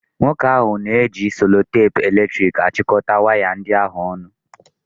Nwoke ahụ na-eji selotepu eletrik achịkọta waya ndị ahụ ọnụ.